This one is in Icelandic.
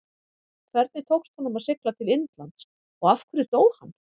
Hvernig tókst honum að sigla til Indlands og af hverju dó hann?